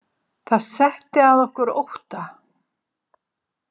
Það setti að okkur ótta.